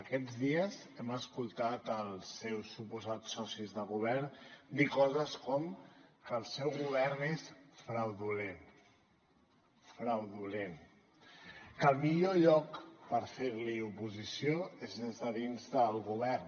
aquests dies hem escoltat els seus suposats socis de govern dir coses com que el seu govern és fraudulent fraudulent que el millor lloc per fer li oposició és des de dins del govern